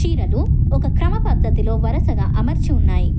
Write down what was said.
చీరలు ఒక క్రమ పద్ధతిలో వరసగా అమర్చి ఉన్నాయి.